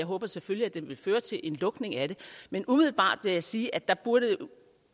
håber selvfølgelig at den vil føre til en lukning af det men umiddelbart vil jeg sige at der burde